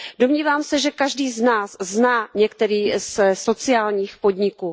Domnívám se, že každý z nás zná některý ze sociálních podniků.